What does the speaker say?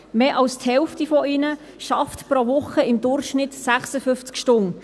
Mehr als die Hälfte von ihnen arbeitet pro Woche im Durchschnitt 56 Stunden;